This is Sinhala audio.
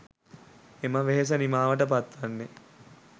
එම වෙහෙස නිමාවට පත් වන්නේ